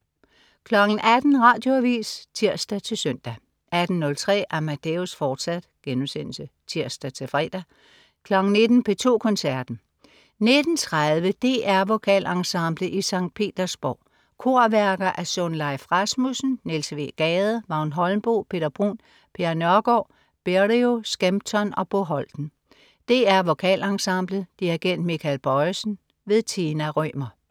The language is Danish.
18.00 Radioavis (tirs-søn) 18.03 Amadeus, fortsat* (tirs-fre) 19.00 P2 Koncerten. 19.30 DR Vokalensemblet i Skt. Petersborg. Korværker af Sunleif Rasmussen, Niels W. Gade, Vagn Holmboe, Peter Bruun, Per Nørgård, Berio, Skempton og Bo Holten. DR Vokalensemblet. Dirigent: Michael Bojesen. Tina Rømer